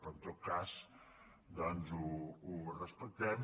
però en tot cas doncs ho respectem